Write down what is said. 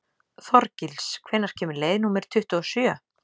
Þorgils, hvenær kemur leið númer tuttugu og sjö?